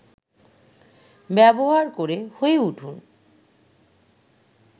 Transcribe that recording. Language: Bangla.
ব্যবহার করে হয়ে উঠুন